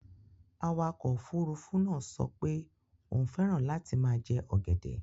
Awakọ̀ òfurufú náà sọ pé òun fẹ́ràn láti máa jẹ ọ̀gẹ̀dẹ̀.